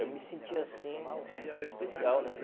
Eu me senti assim, hum especial, né?